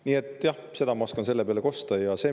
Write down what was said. Nii et jah, seda ma oskan selle peale kosta.